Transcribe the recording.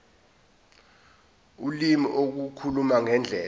ulimi ukukhuluma ngendlela